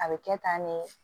A bɛ kɛ tan ne